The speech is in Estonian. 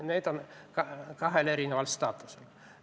Need on kahe erineva staatusega.